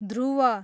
ध्रुव